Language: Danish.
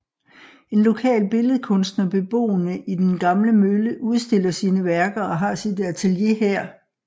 En lokal billedkunstner beboende i den gamle mølle udstiller sine værker og har sit atelier her